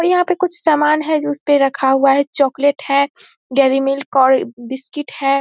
और यहाँ पे कुछ सामान हैं जो उसपे रखा हुआ है चोकलेट है डेरी मिल्क और बिस्किट है।